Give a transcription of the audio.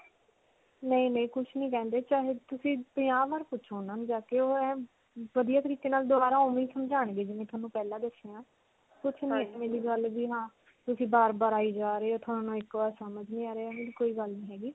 ਨਹੀਂ. ਨਹੀਂ ਕੁਝ ਨਹੀ ਕਹਿੰਦੇ. ਚਾਹੇ ਤੁਸੀਂ ਪੰਜਾਹ ਬਾਰ ਪੁੱਛੋ ਉਨ੍ਹਾਂ ਨੂੰ ਜਾ ਕੇ ਵਧੀਆ ਤਰੀਕੇ ਨਾਲ ਦੋਬਾਰਾ ਓਨ੍ਵੇਂ ਹੀ ਸਮਝਾਉਣਗੇ ਜਿੰਵੇਂ ਤੁਹਾਨੂੰ ਪਹਿਲਾਂ ਦੱਸਿਆ ਤੁਸੀਂ ਬਾਰ-ਬਾਰ ਆਈ ਜਾ ਰਹੇ ਹੋ. ਤੁਹਾਨੂੰ ਇੱਕ ਬਾਰ ਸਮਝ ਨਹੀਂ ਆ ਰਿਹਾ. ਇਹੋ ਜਿਹੀ ਕੋਈ ਗੱਲ ਨਹੀਂ ਹੈਗੀ.